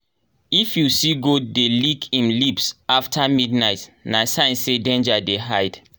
if you see goat dey lick im lips after midnight na sign say danger dey hide.